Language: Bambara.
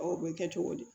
O bɛ kɛ cogo di